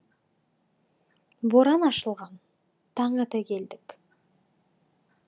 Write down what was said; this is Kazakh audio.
боран ашылған таң ата келдік